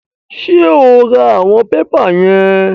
Ṣé o ra àwọn pépà yẹn?